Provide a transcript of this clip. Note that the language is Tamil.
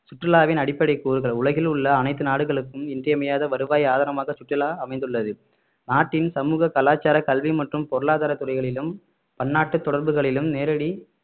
சுற்றுலாவின் அடிப்படை கூறுகள் உலகில் உள்ள அனைத்து நாடுகளுக்கும் இன்றியமையாத வருவாய் ஆதாரமாக சுற்றுலா அமைந்துள்ளது நாட்டின் சமூக கலாச்சாரம் கல்வி மற்றும் பொருளாதார துறைகளிலும் பன்னாட்டு தொடர்புகளிலும் நேரடி